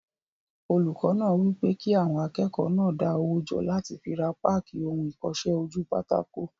Olùkọ́ náà wí pé kí àwọn akẹ́kọ̀ọ́ náà dá owó jọ láti fi ra páàkì ohun ìkọsẹ́-ojúpátákó